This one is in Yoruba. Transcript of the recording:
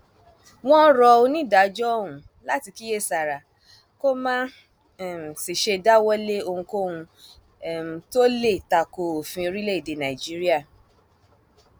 wọn rọ onídàájọ ọhún láti kíyèsára kó má um sì ṣe dáwọ lé ohunkóhun um tó lè takò òfin orílẹèdè nàìjíríà